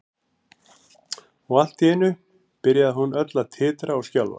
Og allt í einu byrjaði hún öll að titra og skjálfa.